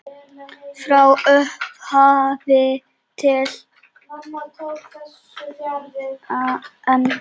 Frá upphafi til enda.